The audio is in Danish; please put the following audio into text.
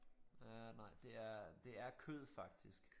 Øh nej det er det er kød faktisk